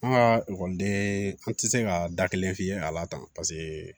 An ka ekɔliden an tɛ se ka da kelen f'i ye a la tan paseke